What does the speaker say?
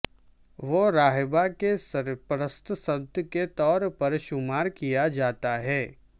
وہ راہبہ کے سرپرست سنت کے طور پر شمار کیا جاتا ہے